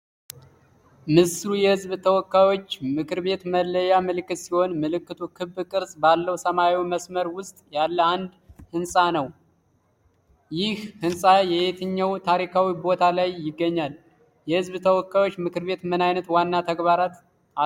ምስሉ የሕዝብ ተወካዮች ምክር ቤት መለያ ምልክት ሲሆን፤ ምልክቱ ክብ ቅርጽ ባለው ሰማያዊ መስመር ውስጥ ያለ አንድ ህንጻ ነው። ይህ ህንጻ የትኛው ታሪካዊ ቦታ ላይ ይገኛል? የሕዝብ ተወካዮች ምክር ቤት ምን አይነት ዋና ተግባራት አሉት?